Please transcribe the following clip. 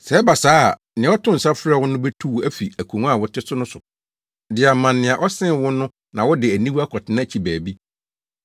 Sɛ ɛba saa a, nea ɔtoo nsa frɛɛ wo no betu wo afi akongua a wote so no so de ama nea ɔsen wo no na wode aniwu akɔtena akyi baabi.